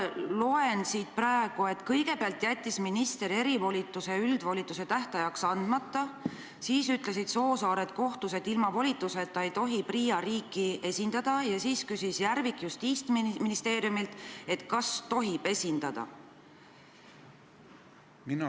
Ma loen siit, et kõigepealt jättis minister erivolituse üldvolituse tähtajaks andmata, siis ütlesid Soosaared kohtus, et ilma volituseta ei tohi PRIA riiki esindada, ja siis küsis Järvik Justiitsministeeriumilt, et kas tohib esindada.